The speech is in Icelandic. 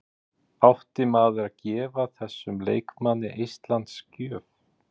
Átti maður að gefa þessum leikmanni eistlands gjöf?